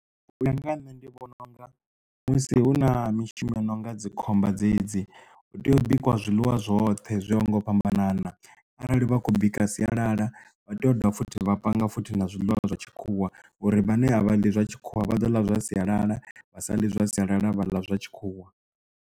U ya nga ha nṋe ndi vhona unga musi hu na mishumo yo nonga dzikhomba dzedzi hu tea u bikwa zwiḽiwa zwoṱhe zwo ya ho ngo u fhambanana arali vha khou bika sialala vha tea u dovha futhi vha panga futhi na zwiḽiwa zwa tshikhuwa uri vhane a vha ḽi zwa tshikhuwa vha ḓo ḽa zwa sialala vha saḽi zwa sialala vha ḽa zwa tshikhuwa.